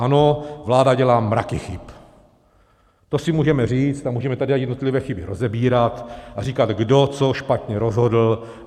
Ano, vláda dělá mraky chyb, to si můžeme říct, a můžeme tady i jednotlivé chyby rozebírat a říkat, kdo co špatně rozhodl.